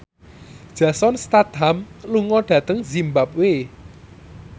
Jason Statham lunga dhateng zimbabwe